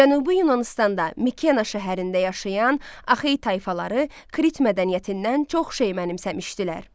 Cənubi Yunanıstanda Mikena şəhərində yaşayan Axey tayfaları Krit mədəniyyətindən çox şey mənimsəmişdilər.